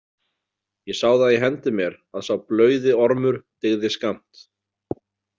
Ég sá það í hendi mér að sá blauði Ormur dygði skammt.